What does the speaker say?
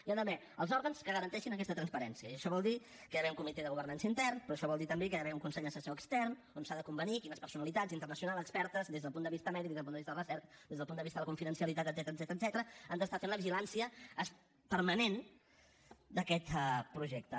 hi ha d’haver els òrgans que garanteixin aquesta transparència i això vol dir que hi ha d’haver un comitè de governança intern però això vol dir també que hi ha d’haver un consell assessor extern on s’ha de convenir quines personalitats internacionals expertes des del punt de vista mèdic des del punt de vista de la recerca des del punt de vista de la confidencialitat etcètera han d’estar fent la vigilància permanent d’aquest projecte